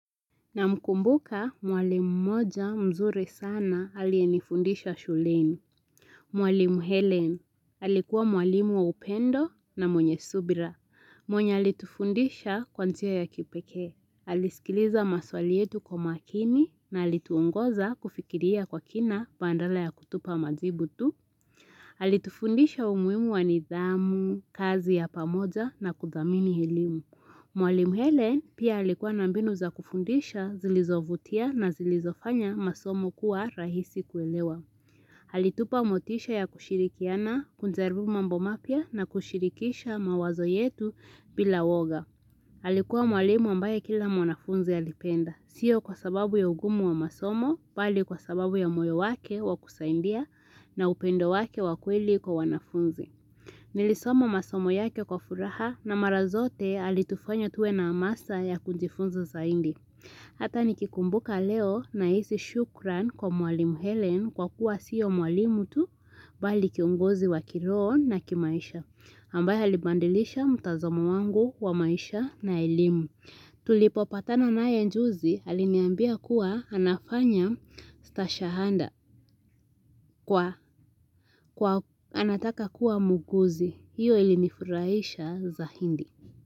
Namkumbuka mwalimu mmoja mzuri sana aliyenifundisha shuleni. Mwalimu Helen alikuwa mwalimu wa upendo na mwenye subira. Mwenye alitufundisha kwa njia ya kipekee. Alisikiliza maswali yetu kwa makini na alituongoza kufikiria kwa kina badala ya kutupa majibu tu. Alitufundisha umuhimu wa nidhamu, kazi ya pamoja na kuthamini elimu. Mwalimu Helen pia alikuwa na mbinu za kufundisha zilizovutia na zilizofanya masomo kuwa rahisi kuelewa. Alitupa motisha ya kushirikiana, kujaribu mambo mapya na kushirikisha mawazo yetu bila uoga. Alikuwa mwalimu ambaye kila mwanafunzi alipenda. Sio kwa sababu ya ugumu wa masomo bali kwa sababu ya moyo wake wa kusaidia na upendo wake wa kweli kwa wanafunzi. Nilisoma masomo yake kwa furaha na mara zote alitufanya tuwe na amasa ya kujifunza zaidi. Hata nikikumbuka leo nahisi shukran kwa mwalimu Helen kwa kuwa sio mwalimu tu bali kiongozi wa kiroho na kimaisha. Ambaye alibadilisha mtazamo wangu wa maisha na elimu. Tulipopatana naye juzi aliniambia kuwa anafanya stashahada kwa anataka kuwa muuguzi. Hiyo ilinifuraisha zaidi.